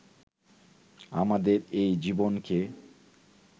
আমাদের এই জীবনকে